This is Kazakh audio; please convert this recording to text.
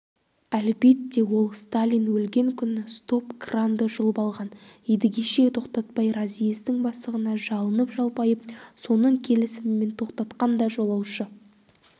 әлбетте ол сталин өлген күні стоп-кранды жұлып алған едігеше тоқтатпай разъездің бастығына жалынып-жалпайып соның келісімімен тоқтатқан да жолаушы